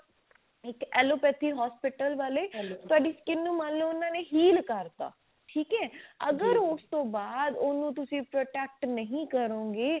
allopathy hospital ਵਾਲੇ ਤੁਹਾਡੀ skin ਨੂੰ ਮੰਨਲੋ ਉਹਨਾਂ ਨੇ heal ਕਰਤਾ ਅਗਰ ਉਸ ਤੋਂ ਬਾਅਦ ਉਹਨੂੰ ਤੁਸੀਂ protect ਨਹੀ ਕਰੋਂਗੇ